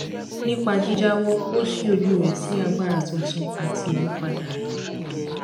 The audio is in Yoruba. nípa jíjáwọ ó ṣí ojú rẹ sí agbára tuntun àti ìmúpadà ayé